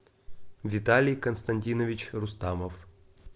виталий константинович рустамов